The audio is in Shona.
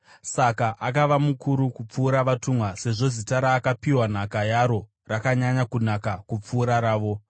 Saka akava mukuru kupfuura vatumwa sezvo zita raakapiwa nhaka yaro rakanyanya kunaka kupfuura ravo.